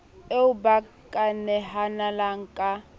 eo ba ka nehelanang ka